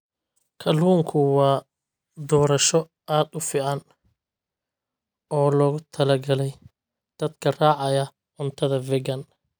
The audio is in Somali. Kalluunku waa doorasho aad u fiican oo loogu talagalay dadka raacaya cuntada vegan.